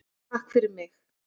TAKK FYRIR MIG.